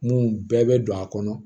Mun bɛɛ bɛ don a kɔnɔ